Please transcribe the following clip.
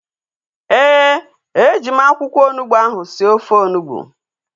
Ee, e ji m akwụkwọ onugbu ahu sie ofe onugbu